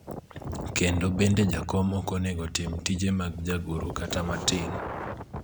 kendo bende jakom ok onego tim tije mag jagoro kata matin